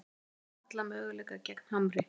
Eigum alla möguleika gegn Hamri